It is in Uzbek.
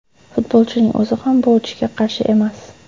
Futbolchining o‘zi ham bu o‘tishga qarshi emas.